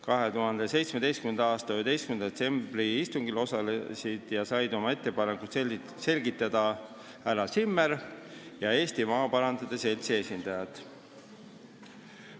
2017. aasta 11. detsembri istungil osalesid ja said oma ettepanekuid selgitada härra Zimmer ja Eesti Maaparandajate Seltsi esindajad.